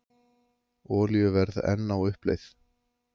Olíuverð enn á uppleið